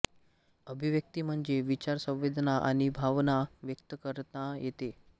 अभिव्यक्ती म्हणजे विचार संवेदना आणि भावना व्यक्त करता येणे